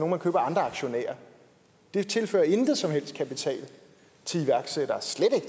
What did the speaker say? man køber af andre aktionærer det tilfører ingen som helst kapital til iværksættere